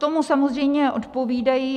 Tomu samozřejmě odpovídají...